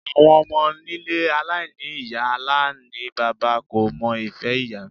Àwọn ọmọ nílé aláìní ìyá aláìníbaba kò mọ ìfẹ́ ìyá.